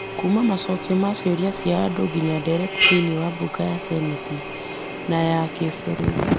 Kuuma macokio ma ciũria cia andũ nginya ndereti thĩinĩ wa mbunge ya Seneti na ya kĩbũrũri.